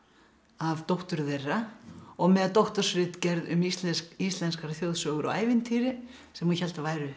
af dóttur þeirra og með doktorsritgerð um íslenskar íslenskar þjóðsögur og ævintýri sem hún hélt að væru